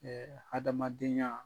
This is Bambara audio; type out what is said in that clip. hadamadenya